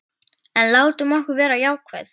En látum okkur vera jákvæð.